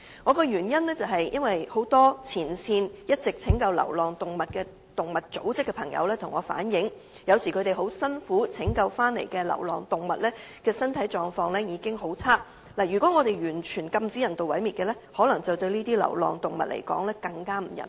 我提出有關修正的原因，是很多一直在前線拯救流浪動物的動物組織成員向我反映，有時候他們辛苦拯救回來的流浪動物的身體狀況已經很差，如果完全禁止人道毀滅，對這些流浪動物來說可能更不人道。